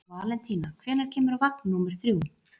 Valentína, hvenær kemur vagn númer þrjú?